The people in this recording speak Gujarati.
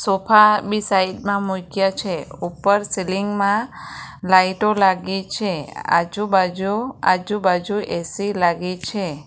સોફા બી સાઈડ માં મૂયક્યા છે ઉપર સીલીંગ માં લાઈટો લાગી છે આજુબાજુ આજુબાજુ એ_સી લાગી છે.